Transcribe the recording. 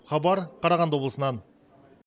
хабар қарағанды облысынан